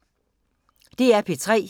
DR P3